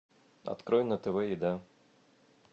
открой на тв еда